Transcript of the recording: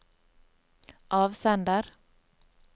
avsender